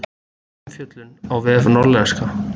Umfjöllun á vef Norðlenska